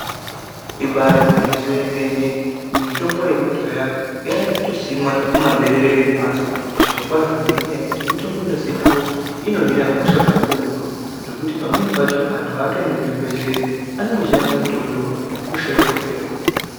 Ibari gwinyiso yemene, mitombo yekudhaya yakutosimwa mumaberere emhatso zvirokwazvo ngekuti mitombo inozikanwa kuti inohina hosha kakurutu. Zvekuti pamweni pacho antu haatoendi kuzvibhedhleya, anongoshandisa mitombo iwona hosha yotopera.